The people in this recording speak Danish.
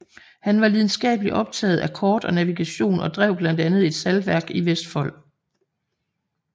Han var lidenskabelig optaget af kort og navigation og drev blandt andet et saltværk i Vestfold